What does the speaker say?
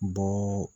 Bɔ